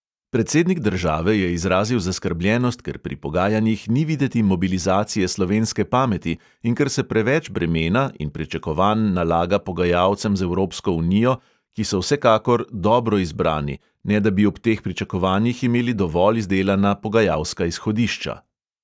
Predsednik države je izrazil zaskrbljenost, ker pri pogajanjih ni videti mobilizacije slovenske pameti in ker se preveč bremena in pričakovanj nalaga pogajalcem z evropsko unijo, ki so vsekakor dobro izbrani, ne da bi ob teh pričakovanjih imeli dovolj izdelana pogajalska izhodišča.